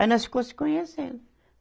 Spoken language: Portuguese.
Aí nós ficou se conhecendo.